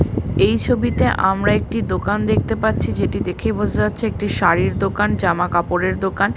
এই ছবিতে আমরা একটি দোকান দেখতে পাচ্ছি যেটি দেখেই বোঝা যাচ্ছে একটি শাড়ির দোকান জামা কাপড়ের দোকান।